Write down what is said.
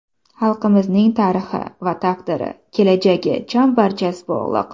Xalqlarimizning tarixi va taqdiri, kelajagi chambarchas bog‘liq.